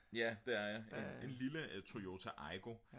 ja det er jeg en lille Toyota Aygo